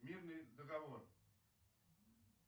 мирный договор